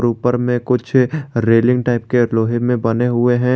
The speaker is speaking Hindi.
ऊपर में कुछ रेलिंग टाइप के लोहे में बने हुए हैं।